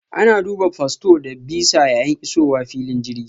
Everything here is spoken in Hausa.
Ana duba fasfo da bisa yayin isowa filin jirgi.